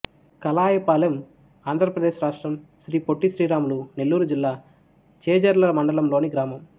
కలాయపాలెం ఆంధ్ర ప్రదేశ్ రాష్ట్రం శ్రీ పొట్టి శ్రీరాములు నెల్లూరు జిల్లా చేజెర్ల మండలం లోని గ్రామం